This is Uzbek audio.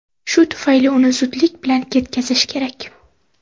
Shu tufayli uni zudlik bilan ketkazish kerak.